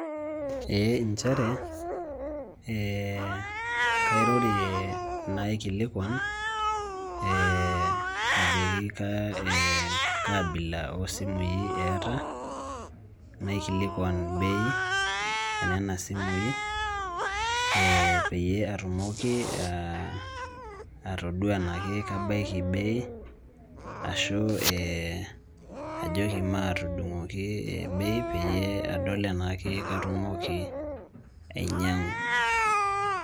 Ee injere, kairorie naikilikwan, ajoki kaabila osimui eeta, naikilikwan bei, enena simui, peyie atumoki atodua enakebaiki bei, ashu ajoki matudung'oki bei peyie adol enaa katumoki ainyang'u.